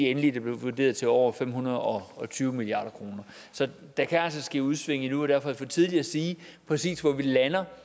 endelige der blev vurderet til over fem hundrede og tyve milliard kroner der kan altså ske udsving endnu og derfor er det for tidligt at sige præcis hvor vi lander